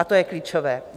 A to je klíčové.